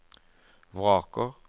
vraker